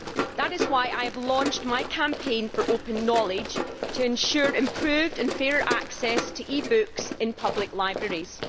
That is why I have launched my campaign for open knowledge to ensure improved and fair access to e books in public libraries.